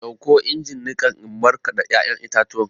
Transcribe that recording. Ɗauko injin niƙan in markada ya'yan itatuwan!